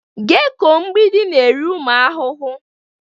Geko mgbidi na-eri ụmụ ahụhụ.